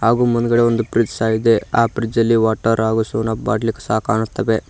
ಹಾಗೂ ಮುಂದ್ಗಡೆ ಒಂದ್ ಫ್ರಿಡ್ಜ್ ಸಹ ಇದೆ ಆ ಫ್ರಿಡ್ಜ್ ಅಲ್ಲಿ ವಾಟರ್ ಹಾಗೂ ಸೆವೆನ್ ಅಪ್ ಬಾಟ್ಲಿ ಸಹ ಕಾಣುತ್ತವೆ.